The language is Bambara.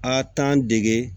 A t'an dege